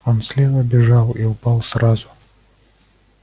он слева бежал и упал сразу